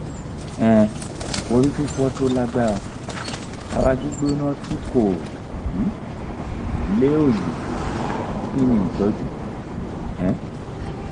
um orififo tó lágbára ara gbigbona ti ko um le oyi kini itoju? um